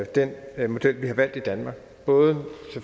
den model vi har valgt i danmark både